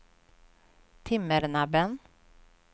Timmernabben